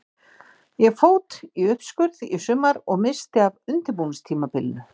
Ég fót í uppskurð í sumar og missti af undirbúningstímabilinu.